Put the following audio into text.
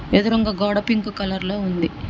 ఎదురుంగ గోడ pink colour లో ఉంది.